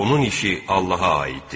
Onun işi Allaha aiddir.